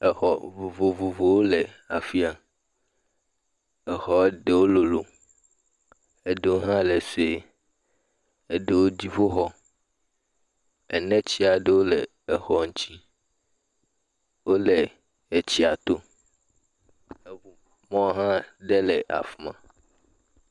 exɔ vovovowo le afia exɔ ɖewó lolo eɖewo hã le soe eɖewo dziƒoxɔ ene tsiaɖewo le exɔ ŋtsi wóle etsia tó eʋu mɔ ɖe hã éle afima